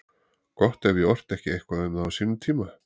Gott ef ég orti ekki eitthvað um það á sínum tíma.